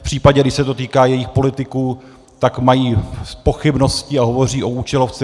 V případě, když se to týká jejich politiků, tak mají pochybnosti a hovoří o účelovce.